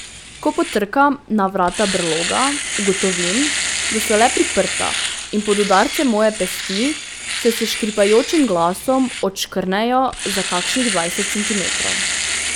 Ko potrkam na vrata brloga, ugotovim, da so le priprta in pod udarcem moje pesti se s škripajočim glasom odškrnejo za kakšnih dvajset centimetrov.